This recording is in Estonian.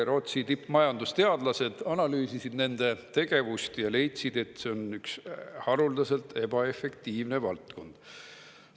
Rootsi tippmajandusteadlased analüüsisid nende tegevust ja leidsid, et see on üks haruldaselt ebaefektiivne valdkond.